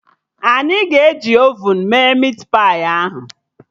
Anyị ga-eji ovun mee mit pai ahụ